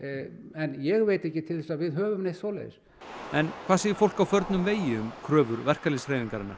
en ég veit ekki til þess að við höfum neitt svoleiðis en hvað segir fólk á förnum vegi um kröfur verkalýðshreyfingarinnar